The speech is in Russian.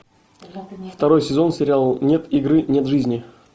второй сезон сериал нет игры нет жизни